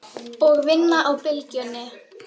Og vinna á Bylgjunni?